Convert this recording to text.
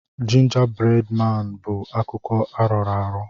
Jinja bred maan bụ akụkọ arọrọ arọ.